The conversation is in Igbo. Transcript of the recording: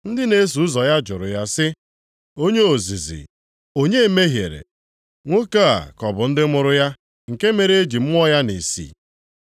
Ndị na-eso ụzọ ya jụrụ ya sị, “Onye ozizi, onye mehiere? Nwoke a ka ọ bụ ndị mụrụ ya, nke mere e ji mụọ ya nʼìsí?”